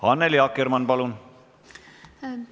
Annely Akkermann, palun!